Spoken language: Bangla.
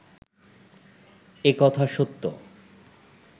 এ কথা সত্য